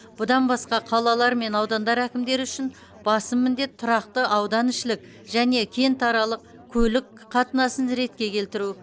бұдан басқа қалалар мен аудандар әкімдері үшін басым міндет тұрақты ауданішілік және кентаралық көлік қатынасын ретке келтіру